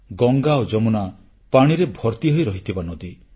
ଗଙ୍ଗା ଓ ଯମୁନା ପାଣିରେ ଭର୍ତିହୋଇ ରହିଥିବା ନଦୀ